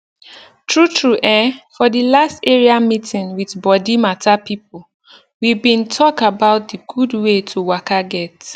true true eh for the last area meeting with body matter pipo we bin talk about d gud wey to waka get